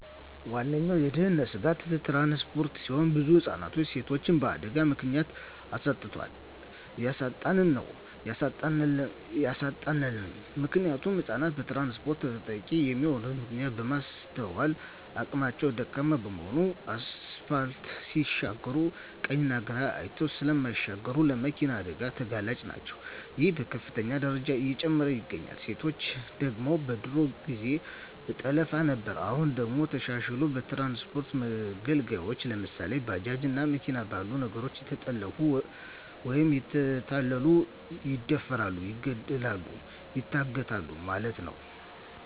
ዋነኛዉ የድህንነት ስጋት ትራንስፖርት ሲሆን ብዙ ህፃናትንና ሴቶችን በአደጋ ምክንያት አሳጥቶናል እያሳጣን ነዉ ያሳጣናልም። ምክንያቱም ህፃናት በትራንስፖርት ተጠቂ የሚሆኑበት ምክንያት የማስትዋል አቅማቸዉ ደካማ በመሆናቸዉ አስፓልት ሲሻገሩ ቀኝና ግራ አይተዉ ስለማይሻገሩ ለመኪና አደጋ ተጋላጭ ናቸዉ ይሄም በከፍተኛ ደረጃ እየጨመረ ይገኛል። ሴቶች ደግሞ በድሮ ጊዜ በጠለፋ ነበር አሁን ደግሞ ተሻሽልሎ በትራንስፖርት መገልገያወች ለምሳሌ፦ ባጃጅ እና መኪና ባሉ ነገሮች እየተጠለፊፉ ወይም እየተታለሉ ይደፈራሉ ይገደላሉ ይታገታሉ ማለት ነዉ።